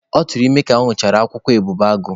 Ọ tụrụ ime ka ọ ñụchara akwụkwọ ebubeagụ.